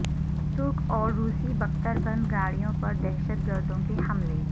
ترک اور روسی بکتر بند گاڑیوں پر دہشت گردوں کے حملے